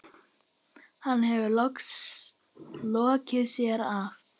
Hann hefur lokið sér af.